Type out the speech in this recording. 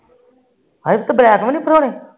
ਹਾਏ ਬਲੈਕ ਵੀ ਨੀ ਭਰੋਣੇ